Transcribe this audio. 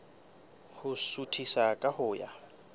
ho suthisa ka ho ya